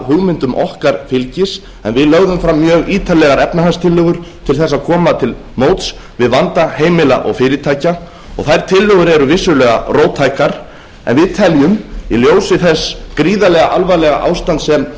hugmyndum okkar fylgis en við lögðum fram mjög ítarlegar efnahagstillögur til þess að koma til móts við vanda heimila og fyrirtækja þær tillögur eru vissulega róttækar en við teljum í ljósi þess gríðarlega alvarlega ástands sem